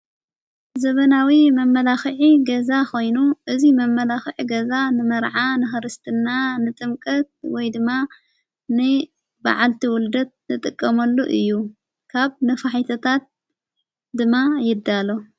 ዘበናዊ መመላዂዕ ገዛ ኾይኑ እዙይ መመላዂዕ ገዛ ንመርዓ ንኽርስትና ንጥምቀት ወይ ድማ ን ብዓልቲ ወልደት ንጥቀመሉ እዩ ካብ ንፋሒትታት ድማ ይዳ ኣሎ።